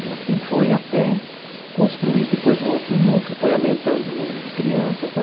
E assim foi até construir depois o outro núcleo, foi aumentando o número de crianças, né?